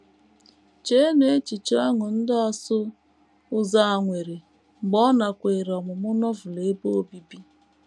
Cheenụ echiche ọṅụ ndị ọsụ ụzọ a nwere mgbe ọ nakweere ọmụmụ Novel ebe obibi!